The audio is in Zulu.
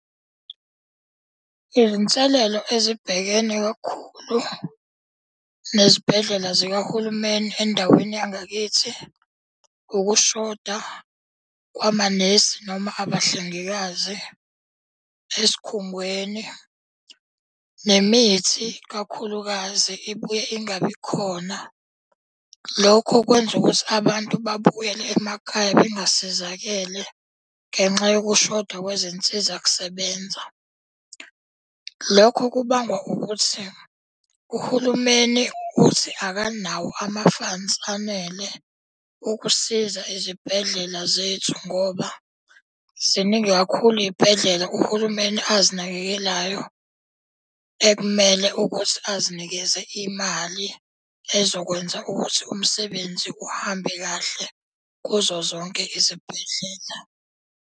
Izinselelo ezibhekene kakhulu nezibhedlela zikahulumeni endaweni yangakithi ukushoda kwamanesi noma abahlengikazi esikhungweni. Nemithi kakhulukazi ibuye ingabi khona lokho kwenza ukuthi abantu babuyele emakhaya bengasizakele ngenxa yokushoda kwezinsiza kusebenza. Lokho kubangwa ukuthi kuhulumeni uthi akanawo ama-funds anele ukusiza izibhedlela zethu ngoba ziningi kakhulu iy'bhedlela uhulumeni azinakekelayo ekumele ukuthi asinikeze imali ezokwenza ukuthi umsebenzi uhambe kahle kuzo zonke izibhedlela.